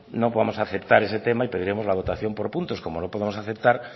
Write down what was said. no podemos aceptar ese tema y pediremos la votación por puntos como no podemos aceptar